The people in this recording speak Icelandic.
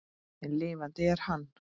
En lifandi er hann.